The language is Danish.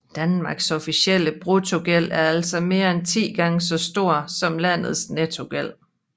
Danmarks offentlige bruttogæld er altså mere end 10 gange så stor som landets nettogæld